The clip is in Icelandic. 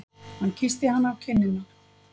Hann kyssti hana á kinnina.